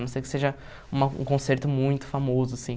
A não ser que seja uma um concerto muito famoso, assim.